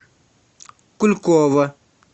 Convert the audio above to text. кулькова